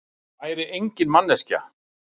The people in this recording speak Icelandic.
Væri engin manneskja.